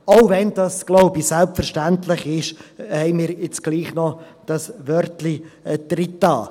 Auch wenn das, glaube ich, selbstverständlich ist, haben wir jetzt doch noch dieses Wörtchen eingefügt.